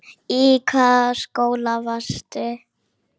Í hvaða skóla varstu?